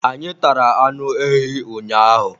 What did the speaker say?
anyị tara anụ ehi ụnyaahụ